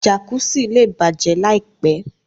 Jàkùsí lẹ́ bájẹ láìpẹ̀.